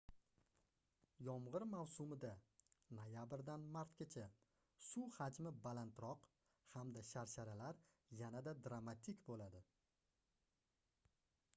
yomg'ir mavsumida noyabrdan martgacha suv hamji balandroq hamda sharsharalar yanada dramatik bo'ladi